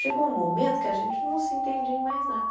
Chegou um momento que a gente não se entendia em mais nada.